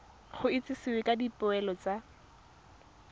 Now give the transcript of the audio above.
go itsisiwe ka dipoelo tsa